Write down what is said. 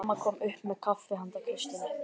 Mamma kom upp með kaffi handa Kristínu.